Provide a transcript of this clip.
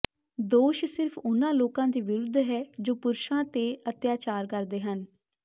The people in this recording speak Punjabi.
ਦੋਸ਼ ਸਿਰਫ਼ ਉਨ੍ਹਾਂ ਲੋਕਾਂ ਦੇ ਵਿਰੁੱਧ ਹੈ ਜੋ ਪੁਰਸ਼ਾਂ ਤੇ ਅਤਿਆਚਾਰ ਕਰਦੇ ਹਨ